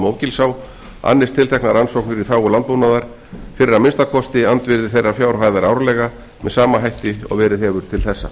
mógilsá annist tilteknar rannsóknir í þágu landbúnaðar fyrir að minnsta kosti andvirði þeirrar fjárhæðar árlega með sama hætti og verið hefur til þessa